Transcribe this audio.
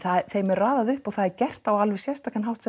þeim er raðað upp og það er gert á alveg sérstakan hátt